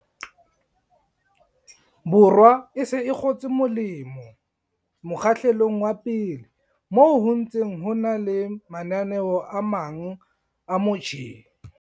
Borwa e se e kgotse molemo mokgahlelong wa pele, moo ho ntseng ho na le mananeo a mang a mo tjheng.